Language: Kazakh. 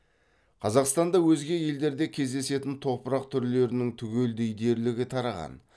қазақстанда өзге елдерде кездесетін топырақ түрлерінің түгелдей дерлігі тараған